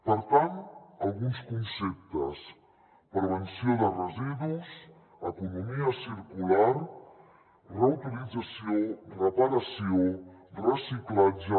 per tant alguns conceptes prevenció de residus economia circular reutilització reparació reciclatge